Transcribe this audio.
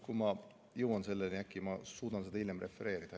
Kui ma jõuan selleni, siis äkki ma suudan seda hiljem refereerida.